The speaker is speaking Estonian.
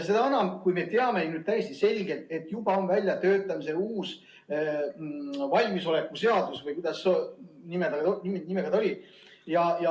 Seda enam, kui me teame ju täiesti selgelt, et juba on väljatöötamisel uus valmisoleku seadus või kuidas see nimi tal oli.